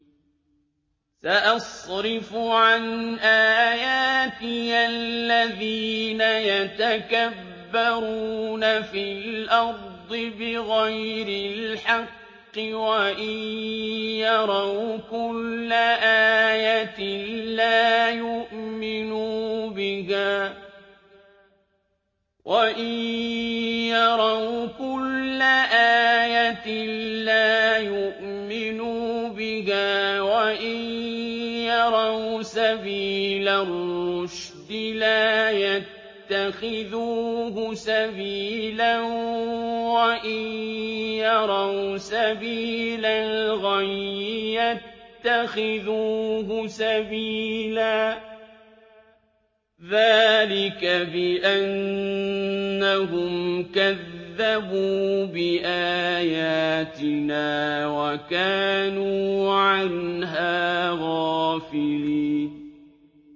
سَأَصْرِفُ عَنْ آيَاتِيَ الَّذِينَ يَتَكَبَّرُونَ فِي الْأَرْضِ بِغَيْرِ الْحَقِّ وَإِن يَرَوْا كُلَّ آيَةٍ لَّا يُؤْمِنُوا بِهَا وَإِن يَرَوْا سَبِيلَ الرُّشْدِ لَا يَتَّخِذُوهُ سَبِيلًا وَإِن يَرَوْا سَبِيلَ الْغَيِّ يَتَّخِذُوهُ سَبِيلًا ۚ ذَٰلِكَ بِأَنَّهُمْ كَذَّبُوا بِآيَاتِنَا وَكَانُوا عَنْهَا غَافِلِينَ